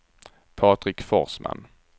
Patrik Forsman